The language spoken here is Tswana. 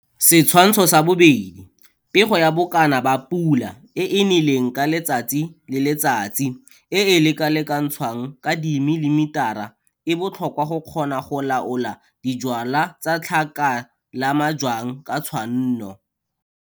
Setshwantsho sa 2 - Pego ya bokana ba pula e e neleng ka letsatsi le letsatsi e e lekalekantshwang ka dimilimitara e botlhokwa go kgona go laola dijwala tsa tlhaka la majwang ka tshwanno.